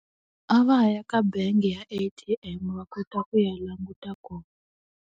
A va ya ka bangi ya A_T_M va kota ku ya languta kona.